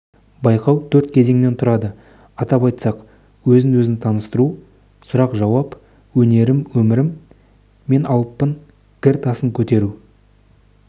байқау төрт кезеңнен тұрады атап айтсақ өзін-өзі таныстыру сұрақ-жауап өнерім өмірім мен алыппын гір тасын көтеру